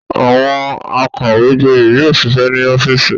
Àwọn akàwégboyè yóò ṣiṣẹ́ ní ọ́fíísì.